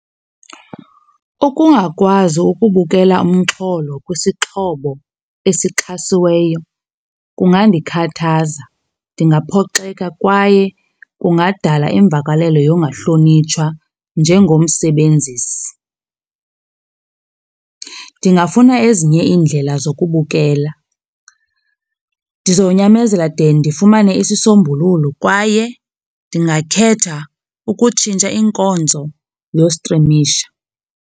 Ukungakwazi ukubukela umxholo kwisixhobo esixhasiweyo kungandikhathaza. Ndingaphoxeka kwaye kungadala imvakalelo yongahlonitshwa njengomsebenzisi. Ndingafuna ezinye iindlela zokubukela. Ndizonyamezela de ndifumane isisombululo kwaye ndingakhetha ukutshintsha inkonzo yostrimisha.